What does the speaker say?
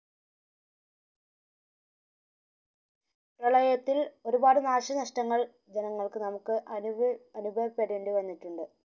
പ്രളയത്തിൽ ഒരുപാട് നാശ നഷ്ടങ്ങൾ ജനങ്ങൾക് നമുക് അനുഭവ അനുഭവപ്പെടേണ്ടി വന്നിട്ടുണ്ട്